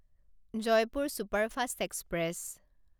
Jaipur superfast express